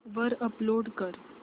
वर अपलोड कर